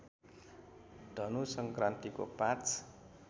धनु सङ्क्रान्तिको ५